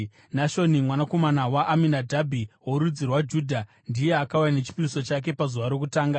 Nashoni mwanakomana waAminadhabhi worudzi rwaJudha, ndiye akauya nechipiriso chake pazuva rokutanga.